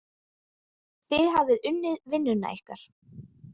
Þið hafið unnið vinnuna ykkar.